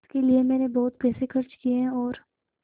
इसके लिए मैंने बहुत पैसे खर्च किए हैं और